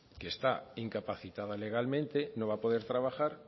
que está incapacitada legalmente no va a poder trabajar